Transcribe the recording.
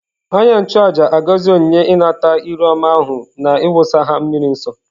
Onye-nchu-àjà āgọzi onyinye-inata-iru-ọma ahu na iwusa ha miri nsọ.